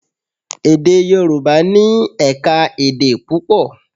Èdè Yorùbá ní ẹ̀ka-èdè púpọ̀.